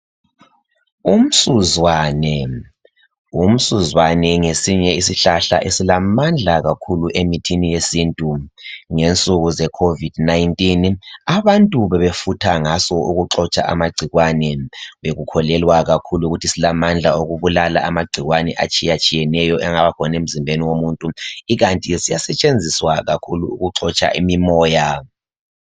Umsuzwane, umsuzwane ngesinye isihlahla esilamandla kakhulu emithini yesintu ngensuku e covid 19 abantu bebefutha ngaso ukuxotsha amagcikwane bekholelwa kakhulu ukuthi silamandla okubulala amagcikwane atshiyatshiyeneyo angaba khona emzimbeni womuntu ikanti ke siya esetshenziswa kakhulu ukuxotsha imimoya.